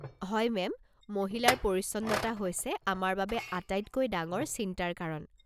হয় মেম, মহিলাৰ পৰিচ্ছন্নতা হৈছে আমাৰ বাবে আটাইতকৈ ডাঙৰ চিন্তাৰ কাৰণ।